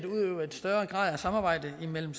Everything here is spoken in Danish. samarbejde mellem